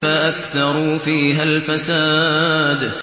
فَأَكْثَرُوا فِيهَا الْفَسَادَ